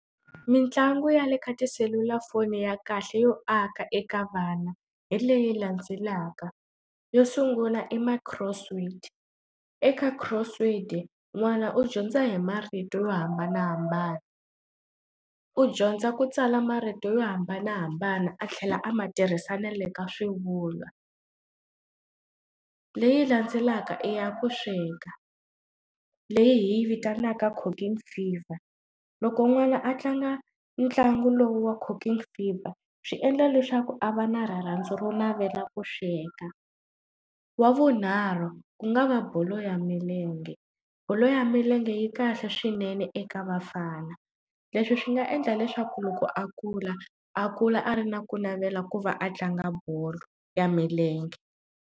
Mintlangu ya le ka tiselulafoni ya kahle yo aka eka vana hi leyi landzelaka yo sungula hi my cross word eka cross word n'wana u dyondza hi marito yo hambanahambana u dyondza kutsala marito yo hambanahambana a tlhela a ma tirhisa na le ka swivulwa leyi landzelaka i ya ku sweka leyi hi yi vitanaka cooking fever loko n'wana a tlanga ntlangu lowu wa cooking fever swi endla leswaku a va na rirhandzu ro navela ku sweka wa vunharhu ku nga va bolo ya milenge ka bolo ya milenge yi kahle swinene eka bafana leswi swi nga endla leswaku loko a kula a kula a ri na ku navela ku va a tlanga bolo ya milenge.